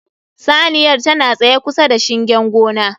Saniyar tana tsaye kusa da shingen gona